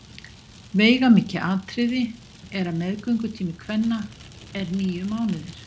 Veigamikið atriði er að meðgöngutími kvenna er níu mánuðir.